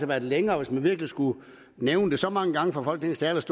været længere hvis man virkelig skulle nævne det så mange gange fra folketingets